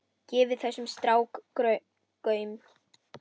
Gefið þessum strák gaum.